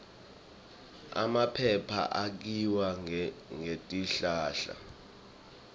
emaphepha akhiwa ngetihlahla